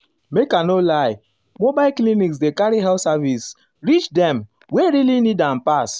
make i no lie mobile clinics dey carry health services reach dem um wey um really need am pass.